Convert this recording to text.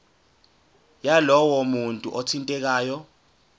yalowo muntu othintekayo